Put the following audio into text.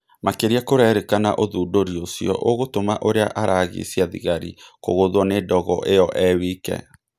Makĩria kũrerĩkana ũthũndũri ũcio ũgũtuma ũrĩa aragicia thigari kũgũthũo nĩ ndogo ĩyo e-wike.